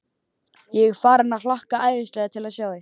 Ég er farinn að hlakka æðislega til að sjá þig.